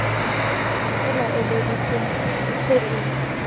e laeleditsweng e se e